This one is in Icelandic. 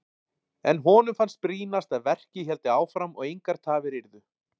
En honum fannst brýnast að verkið héldi áfram og engar tafir yrðu.